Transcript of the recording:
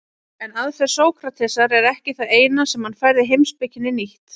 En aðferð Sókratesar er ekki það eina sem hann færði heimspekinni nýtt.